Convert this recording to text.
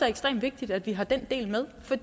ekstremt vigtigt at vi har den del med for